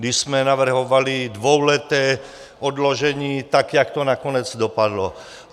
Když jsme navrhovali dvouleté odložení, tak jak to nakonec dopadlo.